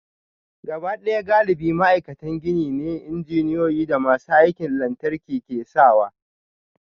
Gabaɗaya galibi ma'aikatan gini ne, injiniyoyi da masu aikin lantarki ke sawa